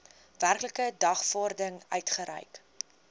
werklike dagvaarding uitgereik